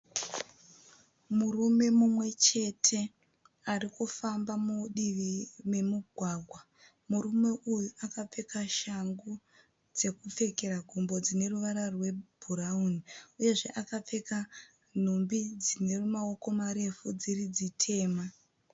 Murume mumwe chete ari kufamba mudivi memugwagwa. Murume uyu akapfeka shangu dzekupfekera gumbo dzine ruvara rwebhurawuni. Uyezve akapfeka nhumbi dzine mawoko marefu dziri dzitema.